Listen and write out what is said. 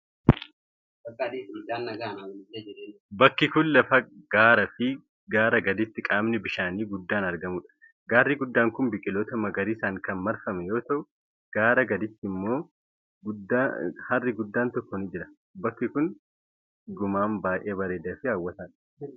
Bakki kun, lafa gaaraa fi gaaraa gaditti qaamni bishaanii guddaan argamuu dha. Gaarri guddaan kun biqiloota magariisaan kan marfame yoo ta'u, gaaraa gaditti harri guddaan tokko ni jira. Bakki kun dhugumaan baay'ee bareedaa fi hawwataa dha.